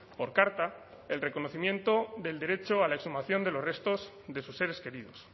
por carta el reconocimiento del derecho a la exhumación de los restos de sus seres queridos